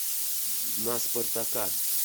на спартака